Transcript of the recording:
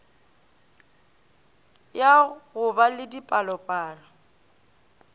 ya go ba le dipalopalo